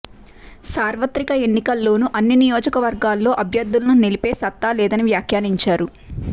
సార్వత్రిక ఎన్నికల్లోను అన్ని నియోజకవర్గాల్లో అభ్యర్థులను నిలిపే సత్తా లేదని వ్యాఖ్యానించారు